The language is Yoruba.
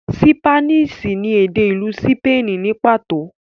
ṣípánísì ni èdè ìlú sípènì ní pàtó.